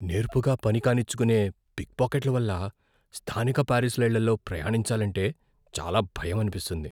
నేర్పుగా పని కానిచ్చుకునే పిక్ పాకెట్లను వల్ల స్థానిక పారిస్ రైళ్లలో ప్రయాణించాలంటే చాలా భయం అనిపిస్తుంది.